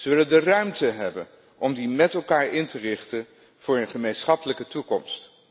Ze willen de ruimte hebben om die met elkaar in te richten voor een gemeenschappelijke toekomst.